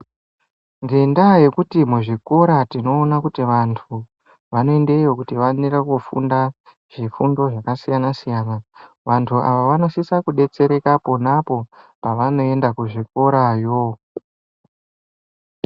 Ngendaya yekuti muzvikora tinoona kuti vantu vanoendeyo kuti vaonere kufunda zvifundo zvakasiyana siyana vantu ava vanosisa kudetsereka ponapo pavanoenda kuzvikorayo.